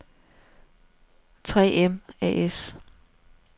3 M A/S